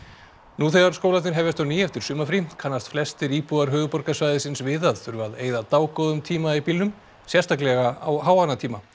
nú þegar skólarnir hefjast á ný eftir sumarfrí kannast flestir íbúar höfuðborgarsvæðisins við að þurfa að eyða dágóðum tíma í bílnum sérstaklega á háannatímum